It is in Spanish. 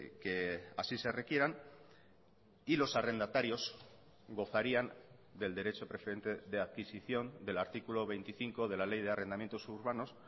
que así se requieran y los arrendatarios gozarían del derecho preferente de adquisición del artículo veinticinco de la ley de arrendamientos urbanos